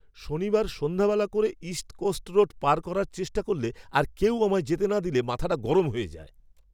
শনিবার সন্ধ্যাবেলা করে ইস্ট কোস্ট রোড পার করার চেষ্টা করলে আর কেউ আমায় যেতে না দিলে মাথাটা গরম হয়ে যায়।